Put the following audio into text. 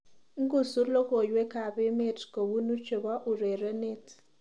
Ngusu logoywekab emet kobunu chebo urerenet